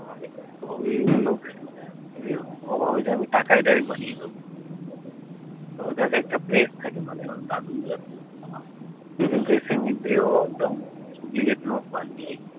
ভাবে আমি টাকা direct বানিয়ে দেবো তো ওর কাক একটা place থাকে মানে ওর দাদু হম হম duplicate note বানিয়ে